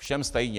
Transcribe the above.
Všem stejně!